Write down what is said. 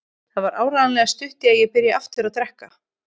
Það var áreiðanlega stutt í að ég byrjaði aftur að drekka.